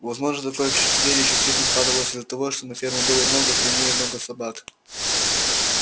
возможно такое впечатление частично складывалось из-за того что на ферме было много свиней и много собак